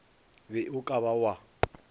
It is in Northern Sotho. be o ka ba wa